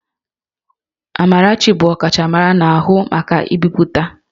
Amarachi bụ ọkachamara na-ahụ maka mbipụta